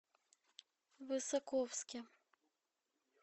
высоковске